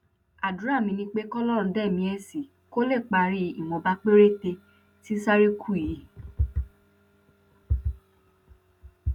àdúrà mi ni pé kọlọrun dá ẹmí ẹ sí kó lè parí ìwọnba péréte tí sáà rẹ kù yìí